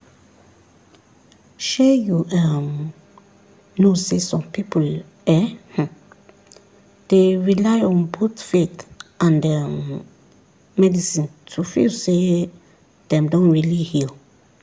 shey you um know sey some people um dey rely on both faith and um medicine to feel say dem don really heal.